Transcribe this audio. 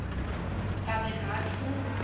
public high school